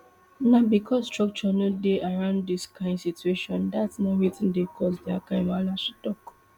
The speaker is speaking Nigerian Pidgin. na becos structure no dey around dis kind of situations dat na wetin dey cause dia kind wahala she tok